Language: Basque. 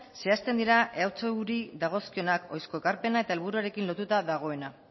zehazten dira ehuri dagozkionak ohizko ekarpenak eta helburuarekin lotuta dagoena